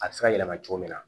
A bɛ se ka yɛlɛma cogo min na